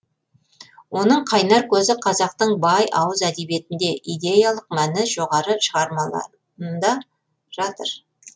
оның қайнар көзі қазақтың бай ауыз әдебиетінде идеялық мәні жоғары шығармаларында жатыр